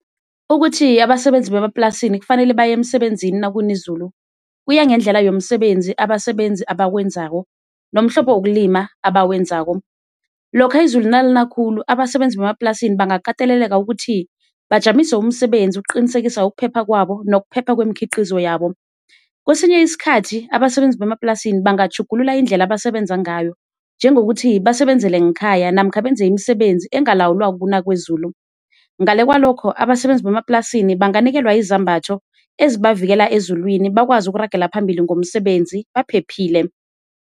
Ukuthi abasebenzi bemaplasini kufanele baye emsebenzini nakuna izulu kuya ngendlela yomsebenzi abasebenzi abawenzako nomhlobo wokulima abawenzako. Lokha izulu nalina khulu abasebenzi bemaplasini bangakateleleka ukuthi bajamise umsebenzi ukuqinisekisa ukuphepha kwabo nokuphepha wemikhiqizo yabo, kwesinye isikhathi abasebenzi bemaplasini bangatjhugulula indlela abasebenza ngayo njengokuthi basebenzele ngekhaya namkha benze imisebenzi engalawulwa kukuna kwezulu. Ngale kwalokho abasebenzi bemaplasini banganikelwa izambatho ezibavikela ezulwini bakwazi ukuragela phambili ngomsebenzi baphephile.